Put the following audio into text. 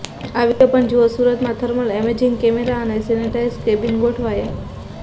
આ વીડિયો પણ જુઓઃ સુરતમાં થર્મલ એમેજિંગ કેમેરા અને સેનેટાઈઝ કેબિન ગોઠવાયા